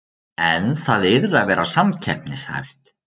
En það yrði að vera samkeppnishæft